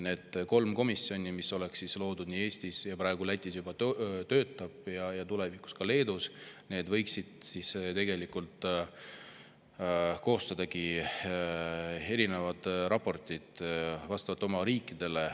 Need kolm komisjoni – üks oleks loodud Eestis, üks praegu Lätis juba töötab ja üks loodaks tulevikus ka Leedus – võiksid koostadagi erinevad raportid oma riikidele.